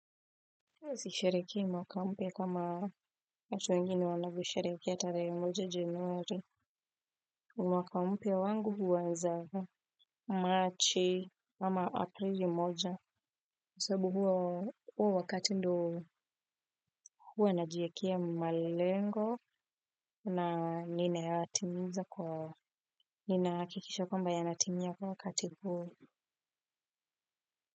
Sisherehekei mwaka mpya kama watu wengine wanavyo sherehekea tarehe moja januari. Mwaka mpya wangu huanza March ama Aprili moja kwa sababua huo wakati ndio huwa najikea malengo na nina yatimiza kwa ninahakikisha kwamba yanatimia kwa wakati huo.